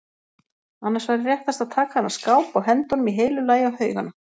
Annars væri réttast að taka þennan skáp og henda honum í heilu lagi á haugana.